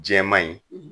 Jɛman ye